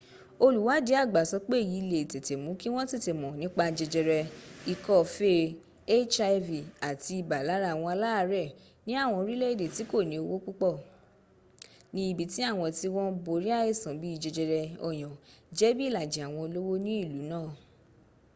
olùwádìí àgbà sọ pé èyí le è tètè mú kí wọn tètè mọ nípa jẹjẹrẹ ikọ́ fee hiv àti ibà lára àwọn aláàrẹ̀ ni àwọn orílẹ̀ èdè tí kòní owó púpọ̀ ní ibi tí àwọn tí wọ́n ń borí àìsàn bíì jẹjẹrẹ ọyàn jẹ bí ìlàjì àwọn olówó ní ìlú náà